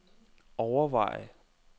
overveje